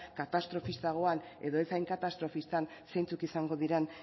katastrofistagoan edo ez hain katastrofistan zeintzuk izango diren